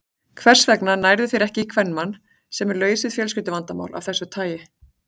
Hvers vegna nærðu þér ekki í kvenmann, sem er laus við fjölskylduvandamál af þessu tagi?